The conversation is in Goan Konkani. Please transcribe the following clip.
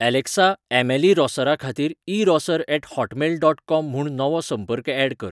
ऍलेक्सा ऍमिली रॉसराखातीर erosser at Hotmail dot com म्हूण नवो संपर्क ऍड कर